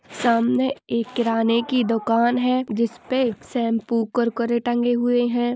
सामने एक किराने की दुकान है जिसपे शेम्पू कुर-कुरे टंगे हुए है।